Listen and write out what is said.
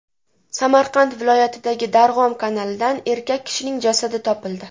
Samarqand viloyatidagi Darg‘om kanalidan erkak kishining jasadi topildi.